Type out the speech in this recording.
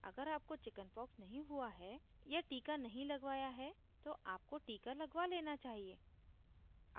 अगर आपको chickenpox नहीं हुई है या टीका नहीं लगवाया है तो आपको टीका लगवा लेना चाहिए